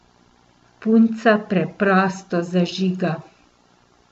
Punca preprosto zažiga.